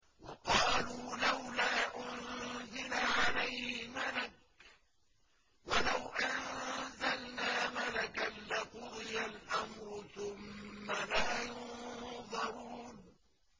وَقَالُوا لَوْلَا أُنزِلَ عَلَيْهِ مَلَكٌ ۖ وَلَوْ أَنزَلْنَا مَلَكًا لَّقُضِيَ الْأَمْرُ ثُمَّ لَا يُنظَرُونَ